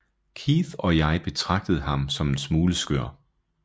Keith og jeg betragtede ham som en smule skør